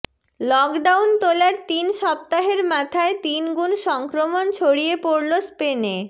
lockdown তোলার তিন সপ্তাহের মাথায় তিন গুণ সংক্রমণ ছড়িয়ে পড়ল স্পেনে